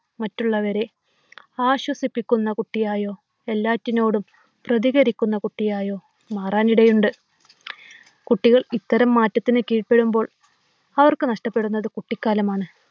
മറ്റുള്ളവരെ ആശ്വസിപ്പിക്കുന്ന കുട്ടിയായോ, എല്ലാറ്റിനോടും പ്രതികരിക്കുന്ന കുട്ടിയായോ മാറാനിടയുണ്ട്. കുട്ടികൾ ഇത്തരം മാറ്റത്തിന് കീഴ്പ്പെടുമ്പോൾ അവർക്ക് നഷ്ടപ്പെടുന്നത് കുട്ടിക്കാലമാണ്.